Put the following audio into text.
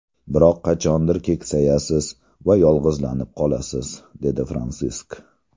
Biroq qachondir keksayasiz va yolg‘izlanib qolasiz”, dedi Fransisk.